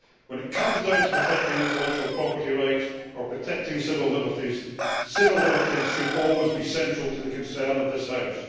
When it comes down to protecting intellectual property rights or protecting civil liberties, civil liberties should always be central to the concern of this House.